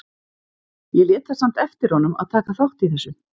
Ég lét það samt eftir honum að taka þátt í þessu.